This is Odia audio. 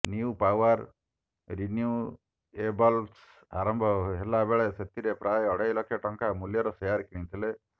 ନ୍ୟୁପାଓ୍ବାର ରିନ୍ୟୁଏବଲ୍ସ ଆରମ୍ଭ ହେବାବେଳେ ସେଥିରେ ପ୍ରାୟ ଅଢ଼େଲ ଲକ୍ଷ ଟଙ୍କା ମୂଲ୍ୟର ସେୟାର କିଣିଥିଲେ